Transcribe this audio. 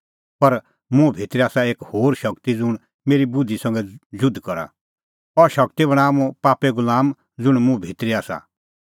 पर मुंह भितरी आसा एक होर शगती ज़ुंण मेरी बुधि संघै जुध करा अह शगती बणांआ मुंह पापे गुलाम ज़ुंण मुंह भितरी आसा